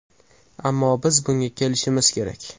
Ammo biz bunga kelishimiz kerak.